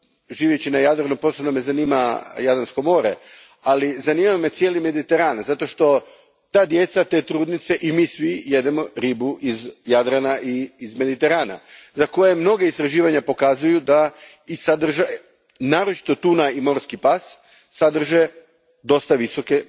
Živeći na Jadranu posebno me zanima Jadransko more, ali zanima me cijeli Mediteran zato što ta djeca, te trudnice i mi svi jedemo ribu iz Jadrana i iz Mediterana, za koje mnoga istraživanja pokazuju da naročito tuna i morski pas sadrže dosta visoki